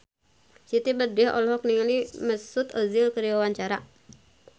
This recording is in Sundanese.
Siti Badriah olohok ningali Mesut Ozil keur diwawancara